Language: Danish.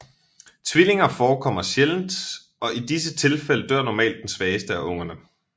Tvillinger forekommer sjældent og i disse tilfælde dør normalt den svageste af ungerne